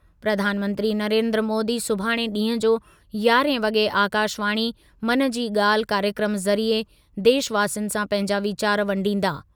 प्रधानमंत्री नरेन्द्र मोदीअ सुभाणे ॾींहुं जो यारहें वॻे आकाशवाणी, मन जी ॻाल्हि कार्यक्रमु ज़रिए देशवासियुनि सां पंहिंजा वीचार वंडींदा।